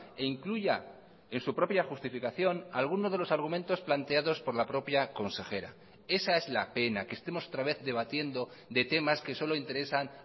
e incluya en su propia justificación alguno de los argumentos planteados por la propia consejera esa es la pena que estemos otra vez debatiendo de temas que solo interesan